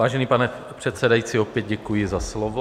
Vážený pane předsedající, opět děkuji za slovo.